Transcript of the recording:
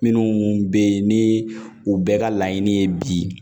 Minnu bɛ yen ni u bɛɛ ka laɲini ye bi